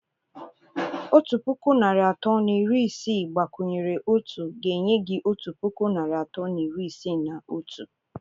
Otu puku narị atọ na iri isii gbakwunyere otu ga-enye gị otu puku narị atọ na iri isii na otu.